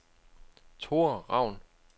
Thora Raun